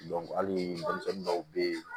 hali denmisɛnnin dɔw bɛ ye